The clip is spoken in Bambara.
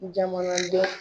Jamanaden